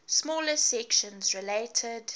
smaller sections related